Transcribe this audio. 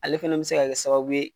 Ale fana bɛ se ka sababu ye.